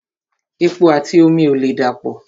Epo àti omi ò lè dà pọ̀